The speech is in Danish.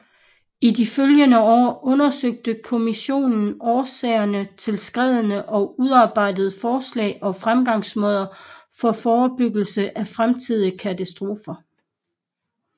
I de følgende år undersøgte kommissionen årsagerne til skreddene og udarbejdede forslag og fremgangsmåder for forebyggelse af fremtidige katastrofer